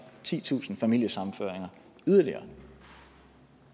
titusind familiesammenføringer yderligere